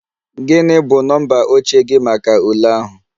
Gị bụ nọmba oche gị maka ule ahụ?